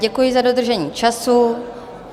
Děkuji za dodržení času.